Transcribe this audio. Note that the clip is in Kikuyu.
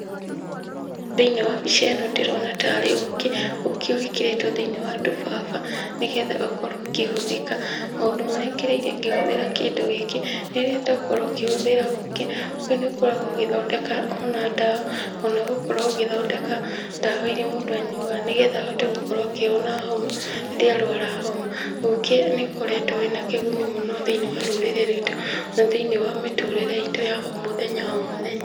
Thĩ-inĩ wa mbica ino ndĩrona tarĩ ũũkĩ. Ũũkĩ ũgĩkĩrĩtwo thĩ-inĩ wa tũbaba nĩ getha ũkorwo ũkĩhũthĩka. Maũndũ marĩa ngereire ngĩhũthĩra kĩndũ gĩkĩ, rĩrĩa ndakorwo ngĩhũthĩra ũũkĩ, ũũkĩ nĩũkoragwo ũgĩthondeka ona ndawa, ona gũkorwo ũgĩthondeka ndawa iria mũndũ anyuaga nĩ getha ahote gũkorwo akĩhona homa, rĩrĩa arwara homa. Ũũkĩ nĩũkoretwo wĩna kĩguni mũno thĩ-ini wa rũrĩrĩ rwitu na thĩ-inĩ wa mĩtũrĩre itũ ya o mũthenya o mũthenya.